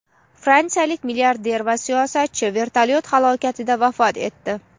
Fransiyalik milliarder va siyosatchi vertolyot halokatida vafot etdi.